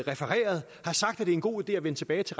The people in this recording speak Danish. det er en god idé at vende tilbage til